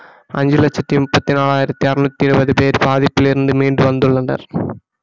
அஞ்சு லட்சத்தி முப்பத்தி நாலாயிரத்தி அறநூத்தி இருபது பேர் பாதிப்பிலிருந்து மீண்டு வந்துள்ளனர்